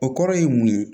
O kɔrɔ ye mun ye